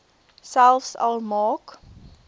selfs al maak